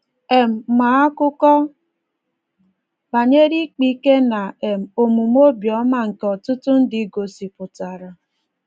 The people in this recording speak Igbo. um Ma a akụkọ banyere ịkpa ike na um omume obiọma nke ọtụtụ ndị gosipụtara.